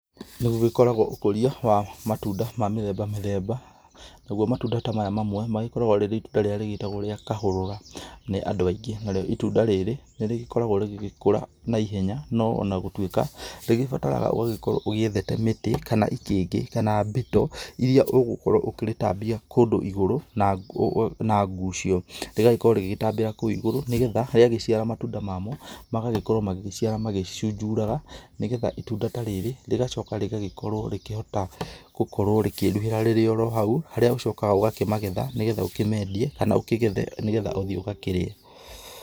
Nĩ gũgĩkoragwo ũkũria wa matunda ma mĩthemba mĩthemba, nagwo matunda ta maya mamwe magĩkoragwo rĩrĩ itunda rĩrĩa rĩgĩtagwo rĩa kahũrũra, nĩ andũ aingĩ, narĩo itunda rĩrĩ nĩrĩgĩkoragwo rĩgĩgĩkũra na ihenya no ona gũtuĩka rĩgĩbataraga ũgagĩkorwo ũgĩethete mĩtĩ kana, itingĩ kana mbito iria ũgũkorwo ũkĩrĩtambia kũndũ igũrũ na ngucio, rĩgagĩkorwo rĩgĩgĩtambĩra kũu igũrũ nĩgetha rĩgagĩciara matunda mamo magagĩkorwo magĩgĩciara magĩcunjuraga, nĩgetha itunda ta rĩrĩ rĩgacoka rĩgagĩkorwo rĩkĩhota gũkorwo rĩkĩruhĩra rĩrĩ oro hau, harĩa ũcokaga ũgakĩmagetha nĩgetha ũkĩmendie kana ũkĩgethe nĩgetha ũthiĩ ũgakĩrĩe.